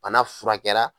Bana furakɛra